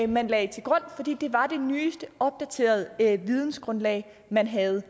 man lagde til grund fordi det var det nyeste opdaterede vidensgrundlag man havde